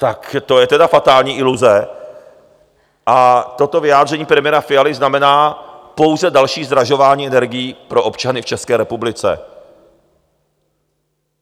Tak to je teda fatální iluze a toto vyjádření premiéra Fialy znamená pouze další zdražování energií pro občany v České republice.